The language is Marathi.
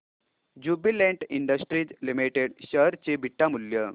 ज्युबीलेंट इंडस्ट्रीज लिमिटेड शेअर चे बीटा मूल्य